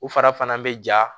U fara fana bɛ ja